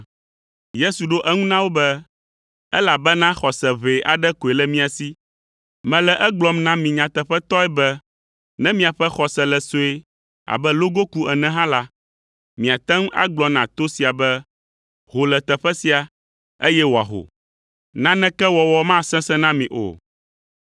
Yesu ɖo eŋu na wo be, “Elabena xɔse ʋɛ aɖe koe le mia si. Mele egblɔm na mi nyateƒetɔe be ne miaƒe xɔse le sue abe logoku ene hã la, miate ŋu agblɔ na to sia be, ‘Ho le teƒe sia’, eye wòaho. Naneke wɔwɔ masesẽ na mi o.